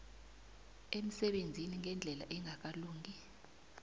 emsebenzini ngendlela engakalungi